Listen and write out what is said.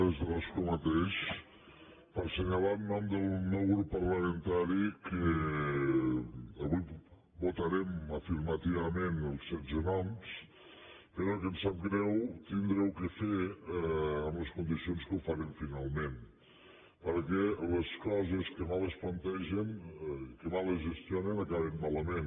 des de l’escó mateix per assenyalar en nom del meu grup parlamentari que avui votarem afirmativament els setze noms però que ens sap greu haver ho de fer en les condicions en què ho farem finalment perquè les coses que mal es plantegen que mal es gestionen acaben malament